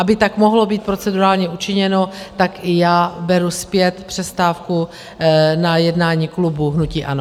Aby tak mohlo být procedurálně učiněno, tak i já beru zpět přestávku na jednání klubu hnutí ANO.